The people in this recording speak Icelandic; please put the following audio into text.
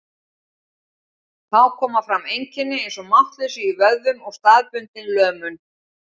Þá koma fram einkenni eins og máttleysi í vöðvum og staðbundin lömun.